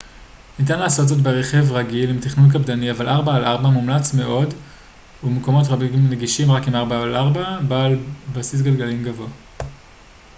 ניתן לעשות זאת ברכב רגיל עם תכנון קפדני אבל 4x4 מומלץ מאוד ומקומות רבים נגישים רק עם 4x4 בעל בסיס גלגלים גבוה